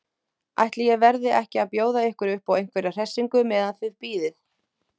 Ætli ég verði ekki að bjóða ykkur uppá einhverja hressingu meðan þið bíðið.